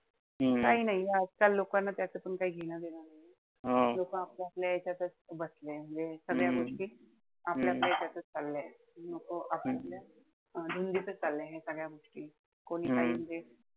आणि काई नाई आजकाल लोकांना त्याच पण काई घेणं-देणं नाई. लोकं आपल्या-आपल्या यांच्यातच म्हणजे सगळ्या गोष्टी आपल्या-आपल्या यांच्यातच पडल्याय. धुंदीतच चाललंय ह्या सगळ्या गोष्टी. कोणी काही,